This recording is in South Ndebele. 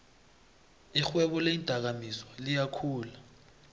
irhwebo leendakamizwa liyakhula